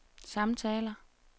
samtaler